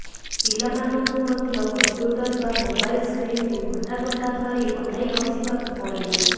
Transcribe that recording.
ପିଲାମାନେ ମଧ୍ୟ କମ୍ପ୍ୟୁଟର ବା ମୋବାଇଲ ସ୍କ୍ରିନକୁ ଘଣ୍ଟା ଘଣ୍ଟା ଧରି ଅନାଇବସିବାକୁ ପଡ଼ିଲା